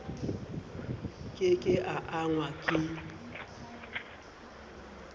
ke ke a angwa ke